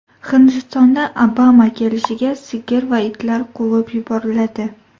Hindistonda Obama kelishiga sigir va itlar quvib yuboriladi.